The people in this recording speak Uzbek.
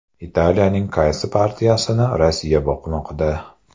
Italiyaning qaysi partiyasini Rossiya boqmoqda?